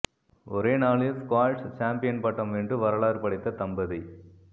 ஒரே நாளில் squash champion பட்டம் வென்று வரலாறு படைத்த தம்பதி